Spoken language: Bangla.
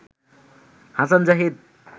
হাসান জাহিদ